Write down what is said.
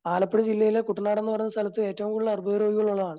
ആലപ്പുഴ ജില്ലയിലെ കുട്ടനാട് എന്നു പറഞ്ഞ സ്ഥലത്ത് എറ്റവും കൂടുതൽ അർബുദരോഗമു ള്ളവരാണ്.